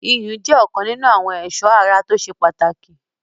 iyùn jẹ́ ọ̀kan nínu àwọn ẹ̀sọ́ ara tó ṣe pàtàkì